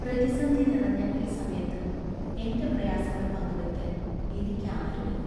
പ്രതിസന്ധി നിറഞ്ഞ ഈ സമയത്ത് എൻ്റെ പ്രയാസങ്ങൾ പങ്കുവയ്ക്കാൻ എനിക്ക് ആരുമില്ല.